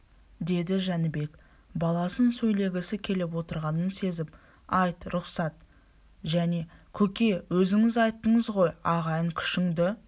деді жәнібек баласының сөйлегісі келіп отырғанын сезіп айт рұқсат және көке өзіңіз айттыңыз ғой ағайын күшіңді